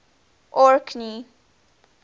orkney